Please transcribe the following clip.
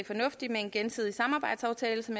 fornuftigt med en gensidig samarbejdsaftale som